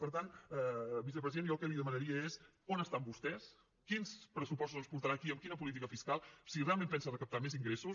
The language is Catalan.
per tant vicepresident jo el que li demanaria és on estan vostès quins pressupostos ens portarà aquí amb quina política fiscal si realment pensa recaptar més ingressos